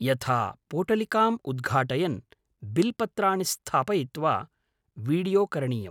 यथा, पोटलिकाम् उद्घाटयन्, बिल् पत्राणि स्थापयित्वा वीडियो करणीयम्।